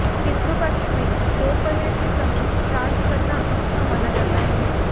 पितृपक्ष में दोपहर के समय श्राद्ध करना अच्छा माना जाता है